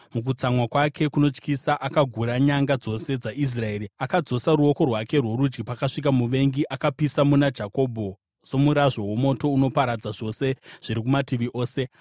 Mukutsamwa kwake kunotyisa akagura nyanga dzose dzaIsraeri. Akadzosa ruoko rwake rworudyi pakasvika muvengi. Akapisa muna Jakobho somurazvo womoto unoparadza zvose zviri kumativi ose.